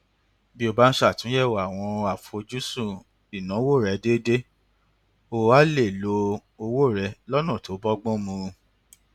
bí o bá ń ṣàtúnyẹwò àwọn àfojúsùn ìnáwó rẹ déédéé o á lè lo owó rẹ lọnà tó bọgbọn mu